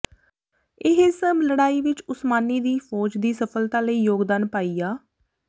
ਇਹ ਸਭ ਲੜਾਈ ਵਿਚ ਉਸਮਾਨੀ ਦੀ ਫ਼ੌਜ ਦੀ ਸਫਲਤਾ ਲਈ ਯੋਗਦਾਨ ਪਾਇਆ